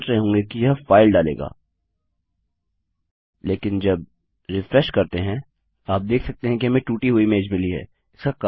आप सोच रहे होंगे कि यह फाइल डालेगा लेकिन जब रिफ्रेश करते हैं आप देख सकते हैं कि हमें टूटी हुई इमेज मिली हैं